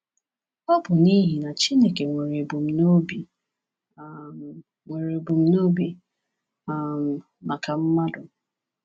Ọ bụ n’ihi na Chineke nwere ebumnobi um nwere ebumnobi um maka mmadụ.